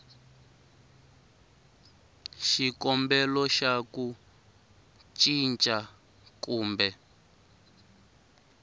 xikombelo xa ku cinca kumbe